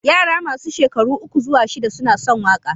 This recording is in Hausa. Yara masu shekaru uku zuwa shida suna son waƙa.